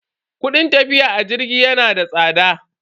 Kudin tafiya a jirgi yana da tsada.